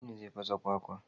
Aminu zai fasa kwakwan.